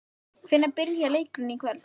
Hvenær byrjar leikurinn í kvöld?